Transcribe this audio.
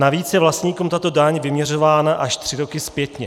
Navíc je vlastníkům tato daň vyměřována až tři roky zpětně.